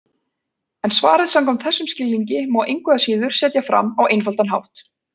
En svarið samkvæmt þessum skilningi má engu að síður setja fram á einfaldan hátt: